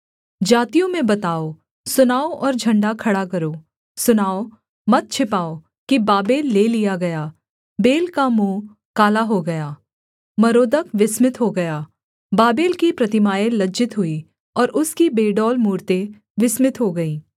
जातियों में बताओ सुनाओ और झण्डा खड़ा करो सुनाओ मत छिपाओ कि बाबेल ले लिया गया बेल का मुँह काला हो गया मरोदक विस्मित हो गया बाबेल की प्रतिमाएँ लज्जित हुई और उसकी बेडौल मूरतें विस्मित हो गई